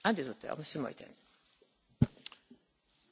Frau Präsidentin, Herr Kommissar, verehrte Kollegen!